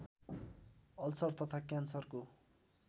ulcer तथा क्यान्सरको